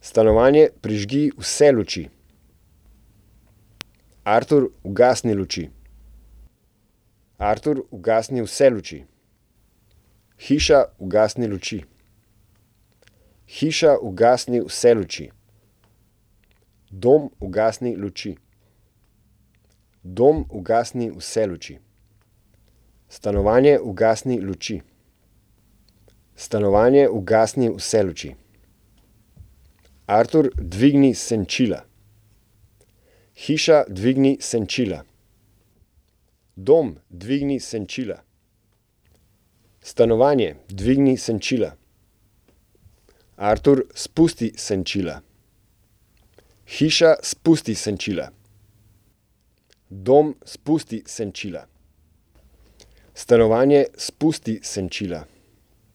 Stanovanje, prižgi vse luči. Artur, ugasni luči. Artur, ugasni vse luči. Hiša, ugasni luči. Hiša, ugasni vse luči. Dom, ugasni luči. Dom, ugasni vse luči. Stanovanje, ugasni luči. Stanovanje, ugasni vse luči. Artur, dvigni senčila. Hiša, dvigni senčila. Dom, dvigni senčila. Stanovanje, dvigni senčila. Artur, spusti senčila. Hiša, spusti senčila. Dom, spusti senčila. Stanovanje, spusti senčila.